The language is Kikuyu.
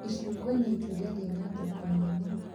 Icungwa nĩ itunda rĩna thoko nene